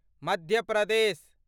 Madhya Pradesh